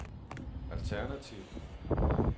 alternativ